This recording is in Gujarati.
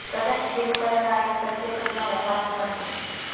કદાચ તેનું કારણ આ એક સત્યઘટના હોવાનું પણ છે